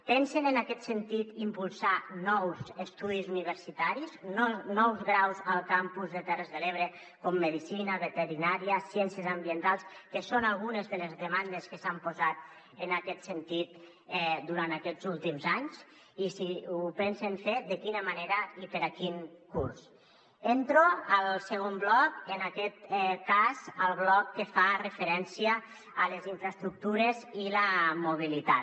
pensen en aquest sentit impulsar nous estudis universitaris nous graus al campus de terres de l’ebre com medicina veterinària ciències ambientals que són algunes de les demandes que s’han posat en aquest sentit durant aquests últims anys i si ho pensen fer de quina manera i per a quin curs entro al segon bloc en aquest cas el bloc que fa referència a les infraestructures i la mobilitat